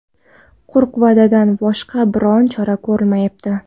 Quruq va’dadan boshqa biron chora ko‘rilmayapti.